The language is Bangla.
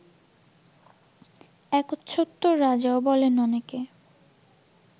একচ্ছত্ব্য রাজাও বলেন অনেকে